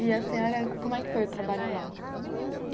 E a senhora, como é que foi o trabalho lá?